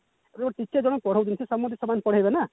teacher ଜଣଙ୍କୁ ପଢାଉଛନ୍ତି ସେ ସମସ୍ତଙ୍କୁ ସମାନ ପଢେଇବେ ନା